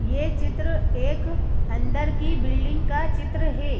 यह चित्र एक अंदर की बिल्डिंग का चित्र है